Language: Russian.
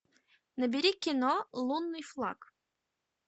набери кино лунный флаг